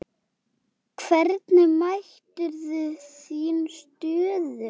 Hvernig meturðu þína stöðu?